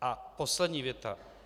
A poslední věta.